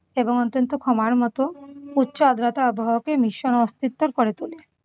এবং অত্যন্ত ক্ষমার মত উচ্চ আর্দ্রতা আবহাওয়াকে ভীষণ অস্থিরতর করে তোলে।